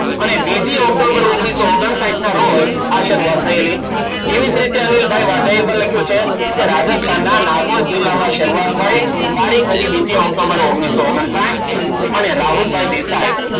અને બીજી ઓક્ટોબર ઓગણીસો ઓગણસાહિથ ના રોજ આયા શરૂઆત થયેલી. એવી જ રીતે અનિલભાઈ વાજા એ પણ લખ્યું છે, રાજસ્થાનના નાગોર જિલ્લામાં શરૂઆત થઈ તારીખ હતી બીજી ઓક્ટોબર ઓગણીસો ઓગણસાહિથ અને રાહુલભાઈ દેસાઈ,